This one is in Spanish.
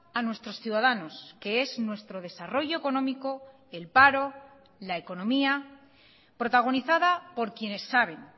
a nuestros ciudadanos que es nuestro desarrollo económico el paro la economía protagonizada por quienes saben